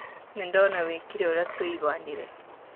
Nĩ ndona wĩkĩre ũrĩa tũiguanire.